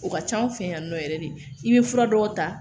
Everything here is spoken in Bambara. O ka ca anw fɛ yan nɔ yɛrɛ de i bɛ fura dɔw ta